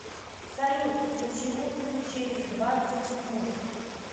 салют включи музыку через двадцать минут